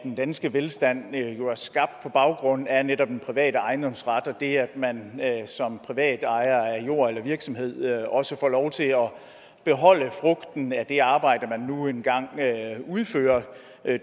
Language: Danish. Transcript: den danske velstand jo er skabt på baggrund af netop den private ejendomsret og det at man som privatejer af jord eller virksomhed også får lov til at beholde frugten at det arbejde man nu engang udfører